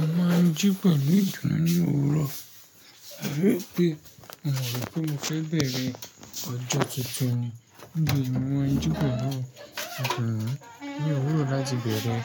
Mo máa ń jí pẹ̀lú idunnu ní òwúrọ̀, ebi e pé mi o ro wipe mo fẹ́ bẹ̀rẹ̀ ọjọ́ tuntun ni. Níbi ìwà jípẹ̀ náà, ìtàn náà ni òwúrọ̀ láti bẹ̀rẹ̀